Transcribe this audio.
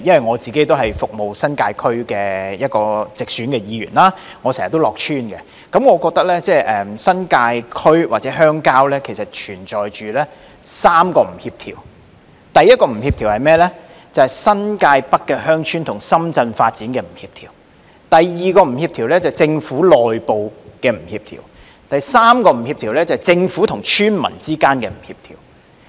我是服務新界區的直選議員，我經常到村內服務，我覺得新界區或鄉郊存在3個不協調：第一，新界北鄉村與深圳發展不協調；第二，政府內部不協調；及第三，政府和村民之間不協調。